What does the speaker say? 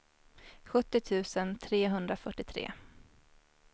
sjuttio tusen trehundrafyrtiotre